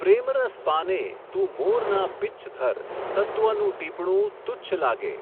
પ્રેમરસ પાને, તું મોરના પિચ્છધર, તત્વનું ટીપણું, તુચ્છ લાગે.